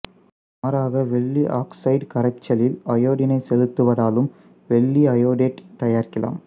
மாறாக வெள்ளி ஆக்சைடு கரைசலில் அயோடினை செலுத்துவதாலும் வெள்ளி அயோடேட்டு தயாரிக்கலாம்